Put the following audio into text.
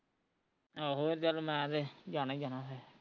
ਆਹੋ ਚੱਲ ਮੈਂ ਤੇ ਜਾਣਾ ਈ ਜਾਣਾ ਫੇਰ